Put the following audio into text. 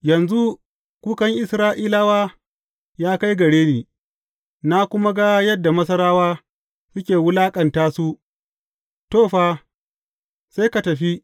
Yanzu kukan Isra’ilawa ya kai gare ni, na kuma ga yadda Masarawa suke wulaƙanta su To, fa, sai ka tafi.